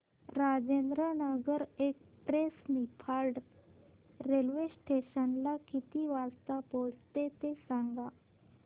Rajendranagar express Niphad railway station ला किती वाजता पोहचते ते सांग